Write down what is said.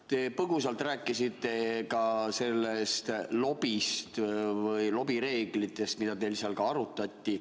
Te põgusalt rääkisite ka lobist ja lobireeglitest, mida teil seal arutati.